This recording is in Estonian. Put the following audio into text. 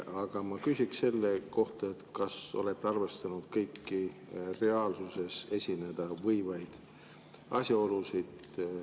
Aga ma küsiks selle kohta, et kas olete arvestanud kõiki reaalsuses esineda võivaid asjaolusid.